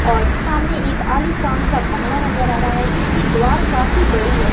और सामने एक आलीशान सा बंगला नजर आ रहा है जिसकी द्वार काफी बड़ी है।